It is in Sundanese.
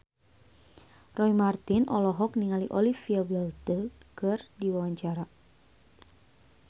Roy Marten olohok ningali Olivia Wilde keur diwawancara